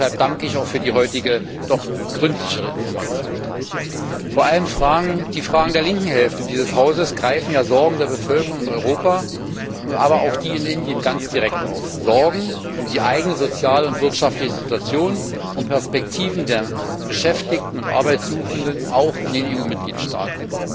Deshalb danke ich für die heutige, doch gründlichere Information. Vor allem greifen Fragen der linken Hälfte dieses Hauses die Sorgen der Bevölkerung in Europa, aber auch in Indien direkt auf, und zwar Sorgen um die eigene soziale und wirtschaftliche Situation und die Perspektiven der Beschäftigten und Arbeitssuchenden auch in den EU Mitgliedstaaten.